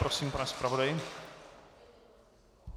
Prosím, pane zpravodaji.